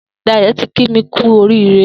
Dayo ti kí mi kù óriré